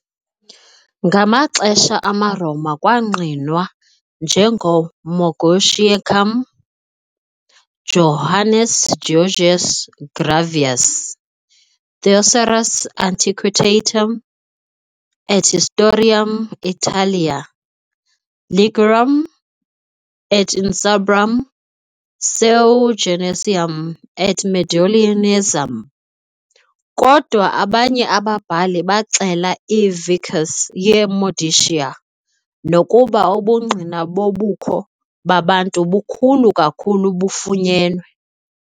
Ngamaxesha amaRoma kwangqinwa "njengoMoguntiacum", Joannes Georgius Graevius, "Thesaurus antiquitatum et historiarum Italiae- Ligurum et Insubrum, seu Genuensium et Mediolanensium", kodwa abanye ababhali baxela i"-vicus" ye "-Modicia", nokuba ubungqina bobukho babantu bukhulu kakhulu bufunyenwe.